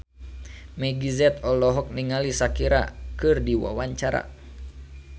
Meggie Z olohok ningali Shakira keur diwawancara